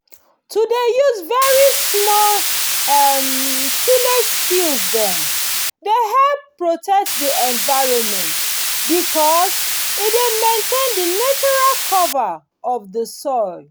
to dey use very small um tillage skills dem dey help protect the environment because e dey maintain the natural cover of the soil